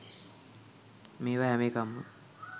මේවා හැම එකක්ම